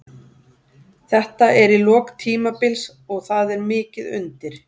Þetta er í lok tímabils og það er mikið undir.